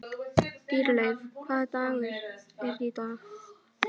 Dýrleif, hvaða dagur er í dag?